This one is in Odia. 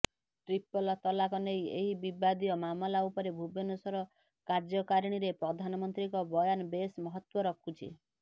ଟ୍ରିପଲ ତଲାକ ନେଇ ଏହି ବିବାଦୀୟ ମାମଲା ଉପରେ ଭୁବନେଶ୍ୱର କାର୍ଯ୍ୟକାରିଣୀରେ ପ୍ରଧାନମନ୍ତ୍ରୀଙ୍କ ବୟାନ ବେଶ୍ ମହତ୍ୱ ରଖୁଛି